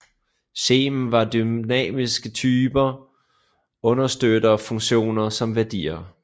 Scheme har dynamiske typer og understøtter funktioner som værdier